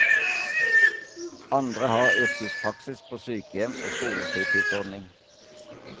Andre har yrkespraksis på sykehjem og skolefritidsordning.